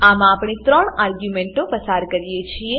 આમાં આપણે ત્રણ આર્ગ્યુંમેંટો પસાર કરી છે